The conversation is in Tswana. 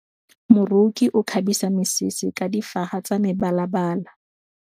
Moroki o kgabisa mesese ka difaga tsa mebalabala.